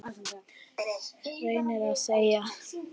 reyni ég að segja.